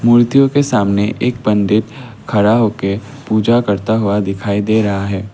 मूर्तियों के सामने एक पंडित खड़ा हो के पूजा करता हुआ दिखाई दे रहा है।